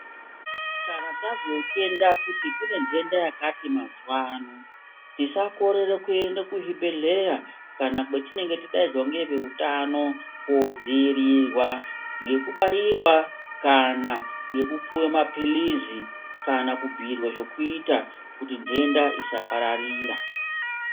Kana tazotenda kuti kune nhenda yakati mazuva ano, tisakorera kuenda kuzvibhedhlera kana kwetinenge tadaidzwa neveutano, koodzoirirwa nokubairwa kana nokupuwe mapilizi kana kubhuyirwe zvokuita kuti ndenda isapararira.